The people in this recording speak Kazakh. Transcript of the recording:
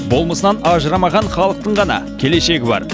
болмысынан ажырамаған халықтың ғана келешегі бар